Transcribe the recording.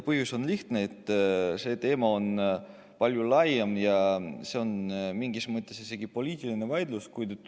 Põhjus on lihtne: see teema on palju laiem ja see on mingis mõttes isegi poliitiline vaidlus.